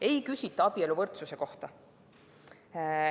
Ei küsita abieluvõrdsuse kohta.